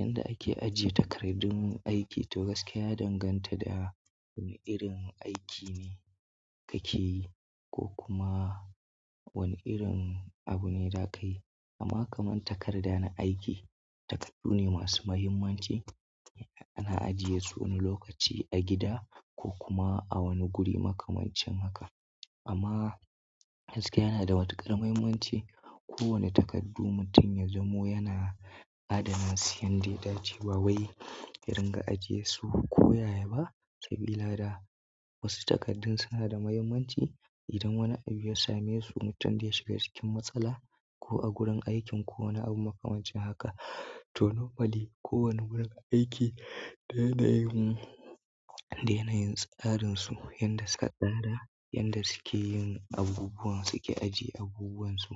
Yanda ake ajiye takardun aiki to gaskiya ya danganta da wane irin aiki ne kake yi ko kuma wane irin abu ne za ka yi. Amma kaman takarda na aiki, takardu ne masu muhimmanci ana ajiye su wani lokaci a gida ko kuma a wani guri makamancin haka. Amma gaskiya yana da matuƙar muhimmanci. Ko wane takardu mutum ya zamo yana adana su, yanda ya dace ba wai yaringa ajiye su, koyaya ba sabila da wasu takardun suna da muhimmanci. Idan wani abu ya same su, mutum zayi shiga cikin matsala ko a gurin aikin ko wani abu makamancin haka. To normally kowane gurin aiki da yanayin tsarin su yanda suka tsara yanda suke yin abubuwan suke ajiye abubuwan su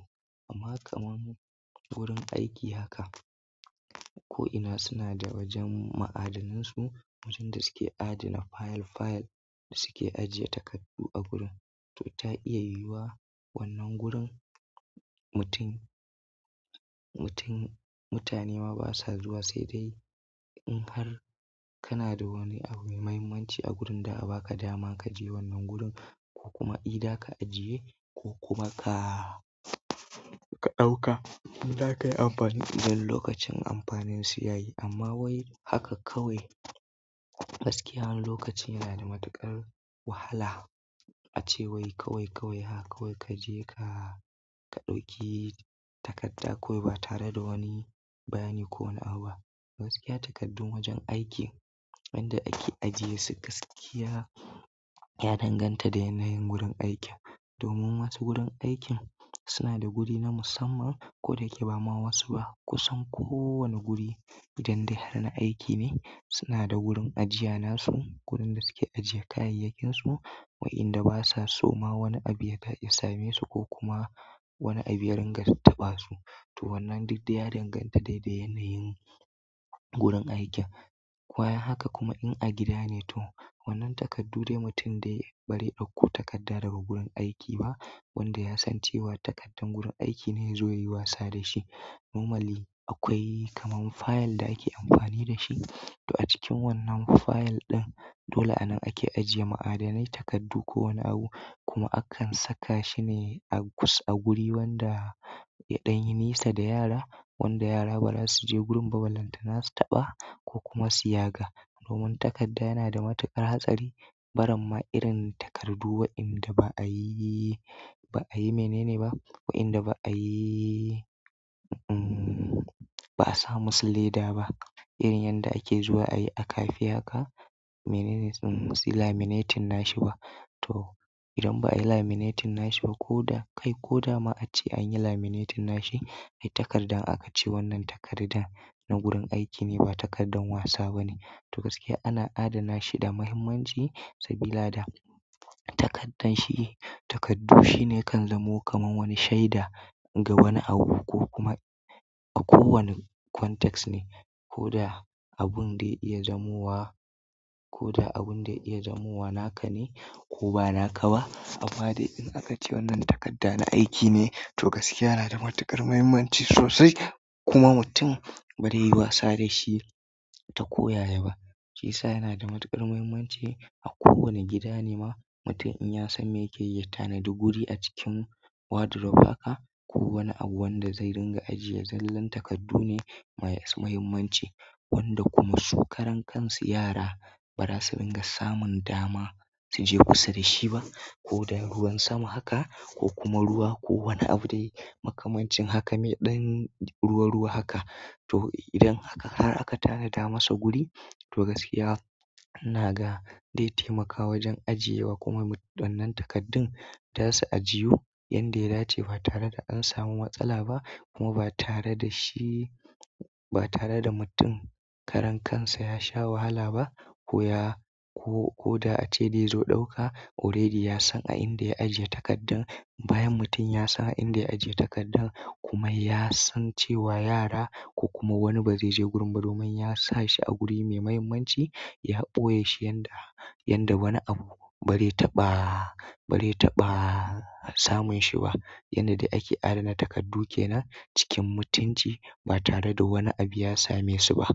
amma kaman wurin aiki haka ko'ina suna da wajen ma'adanan su, wurin da suke adana fayil fayil da suke ajiye takardu a gurin. To ta iya yiwuwa wannan gurin mutum, mutum, mutane ma basa zuwa sai dai in har kana da wani abu mai muhimmanci a gurin za a ba ka dama ka je wannan gurin ko kuma ida ka ajiye ko kuma ka, ka ɗauka. In za ka yi amfani, idan lokacin amfanin su ya yi. Amma wai haka kawai gaskiya wani lokaci yana da matuƙar wahala ace wai kawai, kawai haka kawai ka je ka, ka ɗauki takarda kawai ba tare da wani bayani ko wani abu ba. Gaskiya takardun wajen aiki, yanda ake ajiye su, gaskiya ya danganta da yanayin gurin aikin. Domin wasu gurin aikin suna da guri na musamman ko da yake ba ma wasu ba kusan ko wani guri idan dai har na aiki ne suna da gurin ajiya nasu. Gurin da suke ajiye kayayyakin su wa'inda basa so ma wani abu ya same su ko kuma wani abu ya ringa taɓa su. To wannan duk dai ya danganta dai da yanayin gurin aikin. Bayan haka kuma in a gida ne to wannan takardu dai mutum dai bazai ɗauko takarda daga gurin aiki ba wanda ya san cewa takardar gurin aiki ne yazo yayi wasa da shi. Normally akwai kaman fayil da ake amfani da shi. To a cikin wannan fayil ɗin dole anan ake ajiye ma'adanai, takardu ko wani abu kuma akan saka shi ne a gu, a guri wanda, yaɗan yi nisa da yara wanda yara ba za su je gurin ba, ballantana su taɓa ko kuma su yaga. Domin takarda yana da matuƙar hatsari. Barin ma irin takardu wa'inda ba a yi, ba a yi mene ne ba, wa'inda ba a yi, umm, ba a samu su leda ba irin yanda ake zuwa ayi a kafe haka. Menene sunan ba suyi laminating nashi ba to idan ba a yi laminating nashi ba ko da kai ko dama ace an yi laminating nashi, ai takarda in aka ce wannan takarda na gurin aiki ne ba takardar wasa ba ne. To gaskiya ana adana shi da muhimmanci sabila da takardan shi, takardu shine ya kan zamo kaman wani shaida ga wani abu ko kuma a ko wani context ne. Ko da abun da ya iya zamuwa, ko da abun da ya iya zamuwa naka ne ko ba naka ba. Amma dai in aka ce wannan takarda na aiki ne to gaskiya yana da matuƙar mahimmanci sosai kuma mutum bazai yi wasa da shi ta koyaya ba. Shiyasa yana da matuƙar muhimmanci a ko wane gida ne ma mutum in ya san me yake yi, ta tanadi guri a cikin wardrobe haka ko wani abu wanda zai ringa ajiye. Zallan takardu ne masu mahimmanci wanda kuma su karan kansu yara ba za su ringa samun dama su je kusa da shi ba. Ko dai ruwan sama haka ko kuma ruwa ko wani abu dai makamancin haka me ɗan ruwa ruwa haka. To idan haka har aka tanada masa guri to gaskiya ina ga dai taimaka wajen ajiye wa kuma wannan takardun za su ajiyu. Yanda ya dace ba tare da an samu matsala ba kuma ba tare da shi, ba tare da mutum karan kansa ya sha wahala ba. Ko ya ko, ko da ace zai zo ɗauka already ya san a inda ya ajiye takardun. Bayan mutum ya san a inda ya ajiye takardan kuma ya san cewa yara ko kuma wani ba zai je gurin ba domin ya sa shi a guri me muhimmanci, ya ɓoye shi yanda, yanda wani abu bari taɓa, bari taɓa samun shi ba. Yanda dai ake adana takardu kenan cikin mutunci ba tare da wani abu ya same su ba.